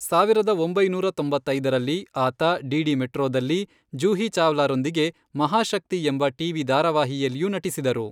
ಸಾವಿರದ ಒಂಬೈನೂರ ತೊಂಬತ್ತೈದರಲ್ಲಿ, ಆತ ಡಿಡಿ ಮೆಟ್ರೋದಲ್ಲಿ ಜೂಹಿ ಚಾವ್ಲಾರೊಂದಿಗೆ ಮಹಾಶಕ್ತಿ ಎಂಬ ಟಿ.ವಿ. ಧಾರಾವಾಹಿಯಲ್ಲಿಯೂ ನಟಿಸಿದರು.